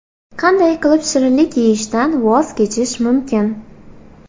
Qanday qilib shirinlik yeyishdan voz kechish mumkin?.